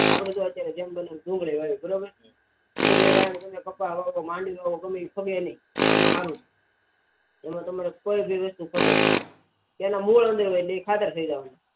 આપડે અત્યરે જેમ ડુંગરી વાવી બરોબર ડુંગરી વાવી તમે કપ્પા વાવો તો ગમે એ ફગે નહી એમાં સારું એમાં તમારે કોઈ બી વસ્તુ ફાગે તેના મૂળ હોય એ ખાતર થઇ જાય